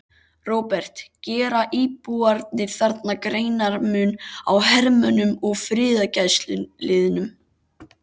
Róbert: Gera íbúarnir þarna greinarmun á hermönnum og friðargæsluliðum?